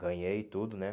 Ganhei tudo, né?